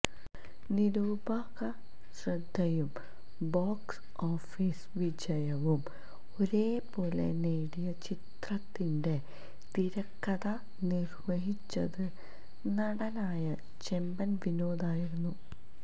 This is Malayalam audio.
നിരൂപകശ്രദ്ധയും ബോക്സ് ഓഫീസ് വിജയവും ഒരേ പോലെ നേടിയ ചിത്രത്തിന്റെ തിരക്കഥ നിര്വഹിച്ചത് നടനായ ചെമ്പന് വിനോദായിരുന്നു